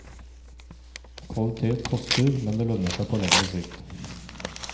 Kvalitet koster, men det lønner seg på lengre sikt.